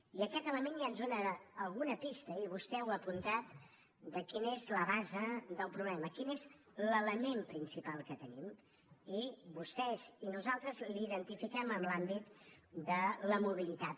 i aquest element ja ens dóna alguna pista i vostè ho ha apuntat de quina és la base del problema quin és l’element principal que tenim i vostès i nosaltres l’identifiquem en l’àmbit de la mobilitat